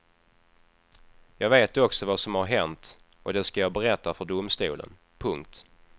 Jag vet också vad som har hänt och det skall jag berätta för domstolen. punkt